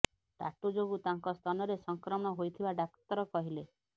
tattoo ଯୋଗୁଁ ତାଙ୍କ ସ୍ତନରେ ସଂକ୍ରମଣ ହୋଇଥିବା ଡାକ୍ତର କହିଲେ